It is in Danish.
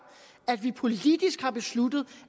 at vi politisk har besluttet